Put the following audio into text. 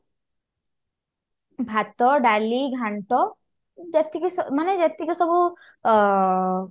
ଭାତ ଡାଲି ଘାଣ୍ଟ ଯେତିକି ସ ମାନେ ଯେତିକି ସବୁ ଅ